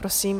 Prosím.